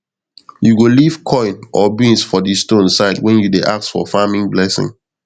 you go leave coin or beans for di stone side when you dey ask for farming blessing